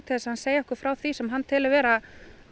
þess að hann segi okkur frá því sem hann telur vera